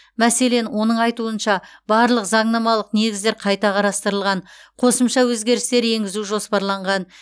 мәселен оның айтуынша барлық заңнамалық негіздер қайта қарастырылған қосымша өзгерістер енгізу жоспарланған